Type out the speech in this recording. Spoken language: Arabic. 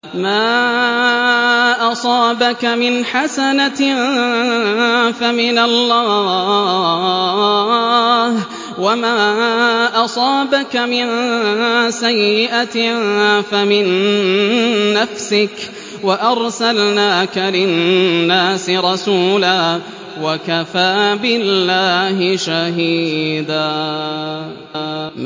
مَّا أَصَابَكَ مِنْ حَسَنَةٍ فَمِنَ اللَّهِ ۖ وَمَا أَصَابَكَ مِن سَيِّئَةٍ فَمِن نَّفْسِكَ ۚ وَأَرْسَلْنَاكَ لِلنَّاسِ رَسُولًا ۚ وَكَفَىٰ بِاللَّهِ شَهِيدًا